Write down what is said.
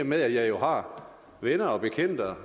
med at jeg jo har venner og bekendte og